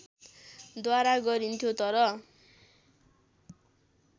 द्वारा गरिन्थ्यो तर